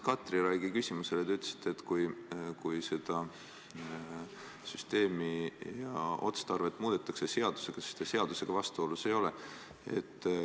Katri Raigi küsimusele vastates te ütlesite, et kui seda süsteemi ja otstarvet seadusega muudetakse, siis ei ole see seadusega vastuolus.